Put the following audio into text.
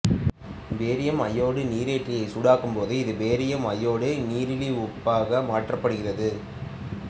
barium அயோடைடு நிரேறியை சூடாக்கும் போது இது பேரியம் அயோடைடு நீரிலி உப்பாக மாற்றப்படுகிறது